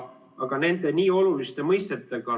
Tegemist on oluliste mõistetega.